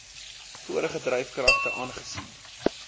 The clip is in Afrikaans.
vorige dryfkragte aangesien